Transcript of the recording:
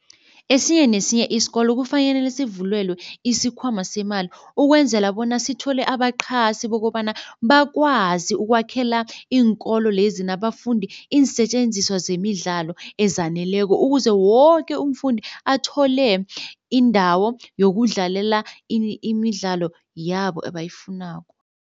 Esinye nesinye isikolo sivulwelwe isikhwama semali ukwenzela bona sithole abaqhasi bokobana bakwazi ukwakhela iinkolo lezi nabafundi iinsetjenziswa zemidlalo ezaneleko ukuze woke umfundi athole indawo yokudlalela imidlalo yabo ebayifunako.